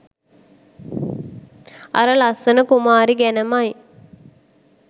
අර ලස්සන කුමාරි ගැනමයි.